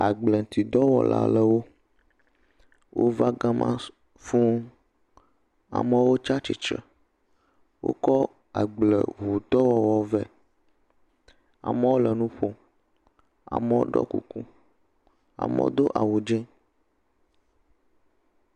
Agbleŋtidɔwɔla aɖewo wova gama su, fũuu. Amewo tsa tsitsre. Wokɔ agbleŋudɔwɔwɔ vɛ. Amewo le nu ƒom. Amewo ɖɔ kuku, amewo do awu dzẽ.